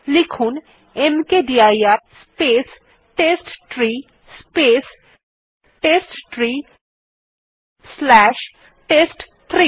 লিখুন মকদির space test tree space test tree slash test three